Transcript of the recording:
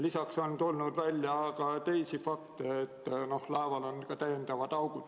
Lisaks on tulnud välja ka teisi fakte, näiteks et laeval on seni teadmata olnud augud.